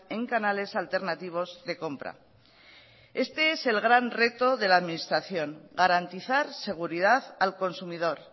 en canales alternativos de compra este es el gran reto de la administración garantizar seguridad al consumidor